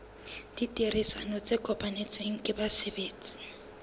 ditherisano tse kopanetsweng ke basebetsi